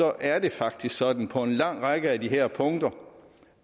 er det faktisk sådan på en lang række af de her punkter